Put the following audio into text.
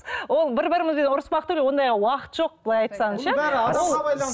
ол бір бірімізбен ұрыспақ түгілі ондайға уақыт жоқ былай айтсаңыз ше